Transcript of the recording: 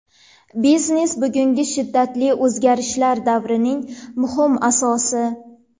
Biznes bugungi shiddatli o‘zgarishlar davrining muhim asosi.